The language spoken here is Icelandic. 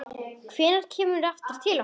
Hvenær kemurðu aftur til okkar?